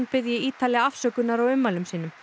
biðji Ítali afsökunnar á ummælum sínum